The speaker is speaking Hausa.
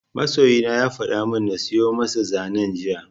Masoyina ya fada min na siyo masa zanen jiya